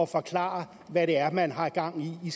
forklare hvad det er man har gang i